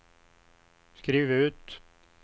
skriv ut